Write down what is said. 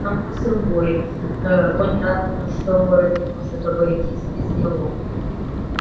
само собой ээ понятно что город не может обойтись без него